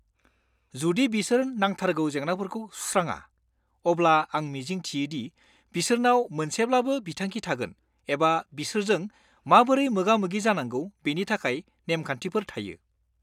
जुदि बिसोर नांथारगौ जेंनाफोरखौ सुस्राङा, अब्ला आं मिजिं थियो दि बिसोरनाव मोनसेब्लाबो बिथांखि थागोन एबा बिसोरजों माबोरै मोगा-मोगि जानांगौ बेनि थाखाय नेमखान्थिफोर थायो।